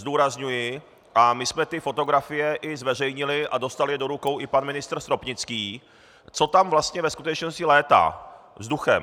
Zdůrazňuji, a my jsme ty fotografie i zveřejnili a dostal je do rukou i pan ministr Stropnický, co tam vlastně ve skutečnosti létá vzduchem.